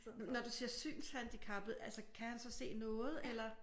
Når du siger synshandicappet altså kan han så se noget eller?